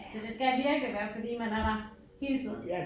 Så det skal virkelig være fordi man er der hele tiden